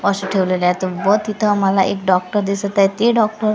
ठेवलेले आहेत व तिथं मला एक डॉक्टर दिसत आहेत ते डॉक्टर --